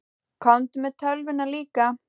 Komdu með tölvuna líka.